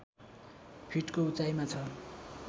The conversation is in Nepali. फिटको उचाइमा छ